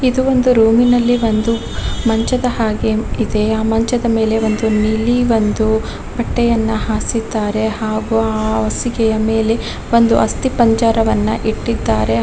ಇದು ಒಂದು ರೂಮಿನಲ್ಲಿ ಒಂದು ಮಂಚದ ಹಾಗೆ ಇದೆ ಆ ಮಂಚದ ಮೇಲೆ ನೀಲಿ ಒಂದು ಬಟ್ಟೆಯನ್ನ ಹಾಸಿದ್ದಾರೆ ಮತ್ತು ಆ ಹಾಸಿಗೆಯ ಮೇಲೆ ಒಂದು ಆಸ್ತಿಪಂಜರವನ್ನು ಇಟ್ಟಿದ್ದಾರೆ.